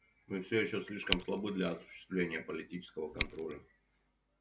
мы всё ещё слишком слабы для осуществления политического контроля